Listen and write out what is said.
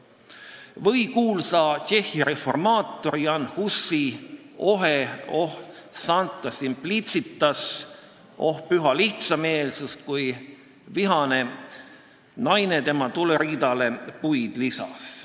Või meenutame kuulsa Tšehhi reformaatori Jan Husi ohet "O sancta simplicitas!" , kui vihane naine tema tuleriidale puid lisas.